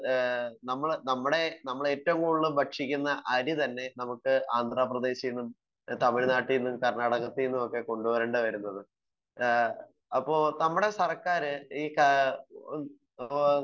Speaker 1 ഏഹ് നമ്മള് നമ്മുടെ നമ്മളേറ്റവും കൂടുതൽ ഭക്ഷിക്കുന്ന അരി തന്നെ നമുക്ക് ആന്ധ്രാപ്രദേശിന്നും തമിഴ്നാട്ടിന്നും കർണ്ണാടകത്തിന്നും ഒക്കെ കൊണ്ട് വരേണ്ടി വരുന്നത്. ആഹ് അപ്പൊ നമ്മുടെ സർക്കാർ ഈ ഏഹ്‌ ഇപ്പൊ